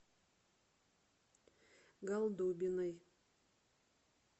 голдобиной